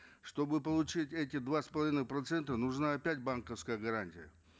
чтобы получить эти два с половной процента нужна опять банковская гарантия